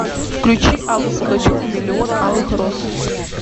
включи аллу пугачеву миллион алых роз